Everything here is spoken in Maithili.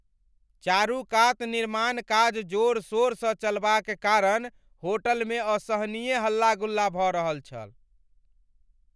चारूकात निर्माण काज जोर शोर सँ चलबाक कारण होटलमे असहनीय हल्ला गुल्ला भऽ रहल छल।